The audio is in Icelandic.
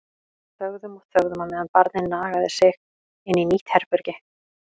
Þögðum og þögðum á meðan barnið nagaði sig inn í nýtt herbergi.